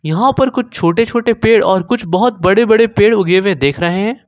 यहां पे कुछ छोटे छोटे पेड़ और कुछ बहोत बड़े बड़े पेड़ उगे हुवे दिख रहे हैं।